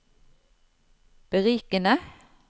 berikende